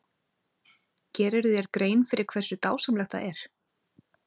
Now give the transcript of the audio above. Gerirðu þér grein fyrir hversu dásamlegt það er?